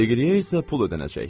Degriyə isə pul ödəniləcək.